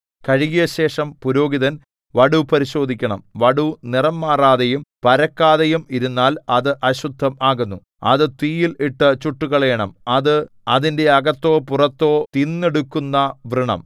കഴുകിയശേഷം പുരോഹിതൻ വടു പരിശോധിക്കണം വടു നിറം മാറാതെയും പരക്കാതെയും ഇരുന്നാൽ അത് അശുദ്ധം ആകുന്നു അത് തീയിൽ ഇട്ടു ചുട്ടുകളയണം അത് അതിന്റെ അകത്തോ പുറത്തോ തിന്നെടുക്കുന്ന വ്രണം